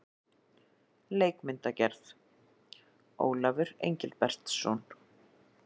Leikmyndagerð: Ólafur Engilbertsson.